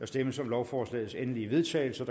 stemmes om lovforslagets endelige vedtagelse